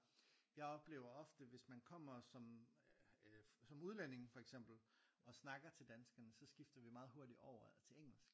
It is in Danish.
Jeg oplever ofte hvis man kommer som øh som udlænding for eksempel og snakker til danskerne så skifter vi meget hurtigt over til engelsk